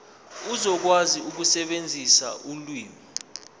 uzokwazi ukusebenzisa ulimi